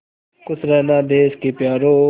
खुश रहना देश के प्यारों